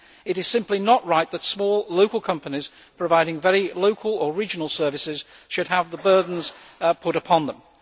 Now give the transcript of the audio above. It is simply not right that small local companies providing very local or regional services should have these burdens put upon them.